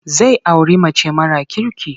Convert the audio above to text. Zai auri mace mara kirki.